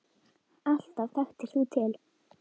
Alltaf þekktir þú til.